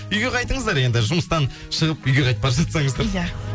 үйге қайтыңыздар енді жұмыстан шығып үйге қайтып бара жатсаңыздар иә